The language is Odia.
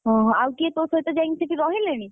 ଓହୋ ଆଉ କିଏ ତୋହ ସହିତ ଯାଇକି ସେଠି ରହିଲେଣି?